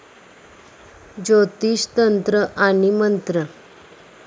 ज्योतिष तंत्र आणि मंत्र